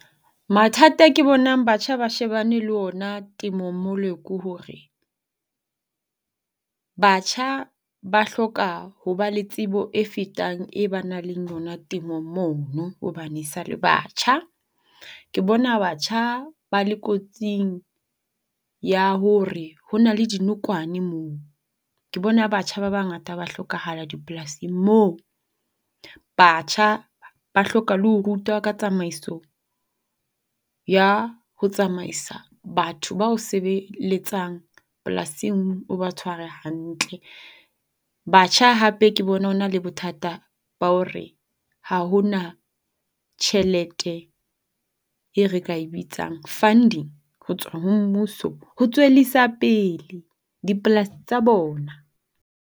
Mathata e ke bonang batjha ba shebane le ona temong mole ke hore, batjha ba hloka ho ba le tsebo e fetang e ba nang le yona temong mono hobane e sa le batjha. Ke bona batjha ba le kotsing ya hore hona le dinokwane moo. Ke bona batjha ba bangata ba hlokahala dipolasing moo. Batjha ba hloka le ho rutwa ka tsamaiso ya ho tsamaisa batho ba o sebeletsang polasing o ba tshware hantle. Batjha hape ke bone ho na le bothata ba hore ha ho na tjhelete e re ka e bitsang funding ho tswa ho mmuso ho tswellisa pele dipolasi tsa bona.